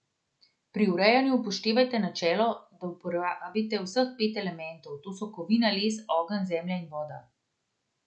Pri urejanju upoštevajte načelo, da uporabite vseh pet elementov, to so kovina, les, ogenj, zemlja in voda.